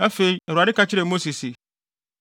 Afei, Awurade ka kyerɛɛ Mose se,